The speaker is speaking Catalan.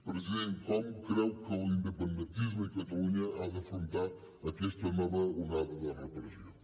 president com creu que l’independentisme i catalunya han d’afrontar aquesta nova onada de repressió